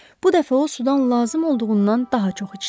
Bu dəfə o sudan lazım olduğundan daha çox içdi.